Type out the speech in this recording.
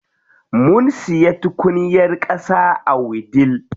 Mun siya tukunyar ƙasa a wudil.